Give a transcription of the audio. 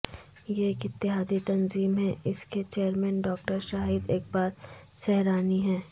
یہ ایک اتحادی تنظیم ہے اس کے چیئرمین ڈاکٹر شاہد اقبال سہرانی ہیں